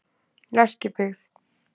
Lerkibyggð